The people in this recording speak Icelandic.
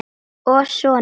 Og soninn